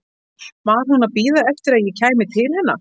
Var hún að bíða eftir að ég kæmi til hennar?